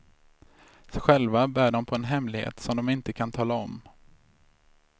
Själva bär de på en hemlighet som de inte kan tala om.